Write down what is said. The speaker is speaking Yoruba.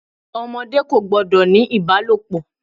Ọmọdé kò gbọ́dọ̀ ní ìbálòpọ̀.